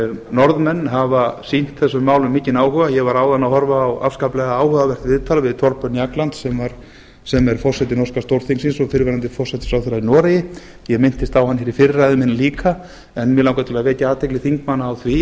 norðmenn hafa sýnt þessum málum mikinn áhuga ég var áðan að horfa á afskaplega áhugavert viðtal við thorbjørn jagland sem er forseti norska stórþingsins og fyrrverandi forsætisráðherra í noregi ég minntist á hann hér í fyrri ræðu minni líka en mig langar að vekja athygli þingmanna á því